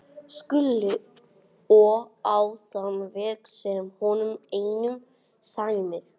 SKÚLI: Og á þann veg sem honum einum sæmir.